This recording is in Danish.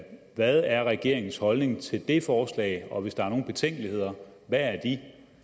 hvad er regeringens holdning til det forslag og hvis der er nogle betænkeligheder hvad er de